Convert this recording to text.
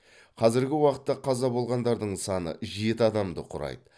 қазіргі уақытта қаза болғандардың саны жеті адамды құрайды